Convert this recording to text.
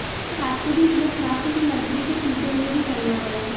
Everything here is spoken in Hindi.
वहीं रास्ते भी इतने खराब थे कि मंत्री को कीचड़ में भी चलना पड़ा